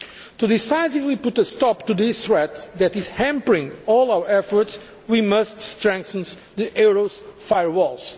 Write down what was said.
To decisively put a stop to this threat that is hampering all our efforts, we must strengthen the euro's firewalls.